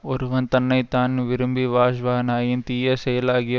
ஒருவன் தன்னை தான் விரும்பி வாஜ்வானாயின் தீய செயலாகிய